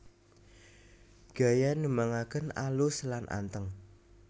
Gaya nembangaken alus lan anteng